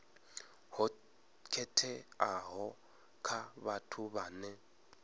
ho khetheaho kha vhathu vhane